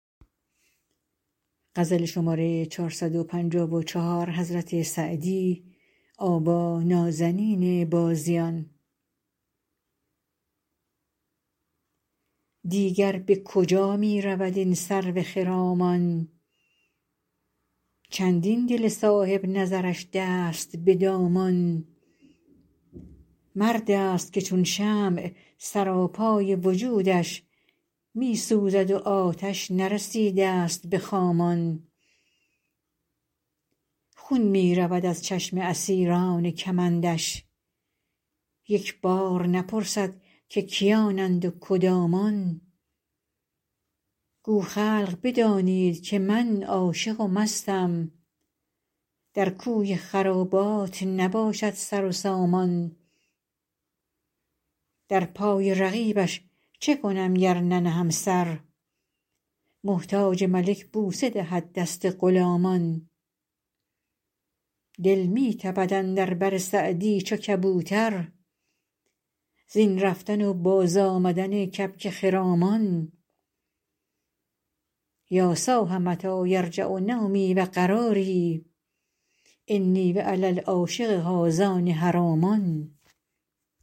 دیگر به کجا می رود این سرو خرامان چندین دل صاحب نظرش دست به دامان مرد است که چون شمع سراپای وجودش می سوزد و آتش نرسیده ست به خامان خون می رود از چشم اسیران کمندش یک بار نپرسد که کیانند و کدامان گو خلق بدانید که من عاشق و مستم در کوی خرابات نباشد سر و سامان در پای رقیبش چه کنم گر ننهم سر محتاج ملک بوسه دهد دست غلامان دل می تپد اندر بر سعدی چو کبوتر زین رفتن و بازآمدن کبک خرامان یا صاح متی یرجع نومی و قراری انی و علی العاشق هذان حرامان